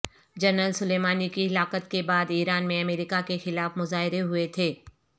general Soleimani کی ہلاکت کے بعد ایران میں امریکہ کے خلاف مظاہرے ہوئے تھے